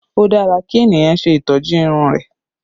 O dára kí ènìyàn ṣe ìtọ́jú irun rẹ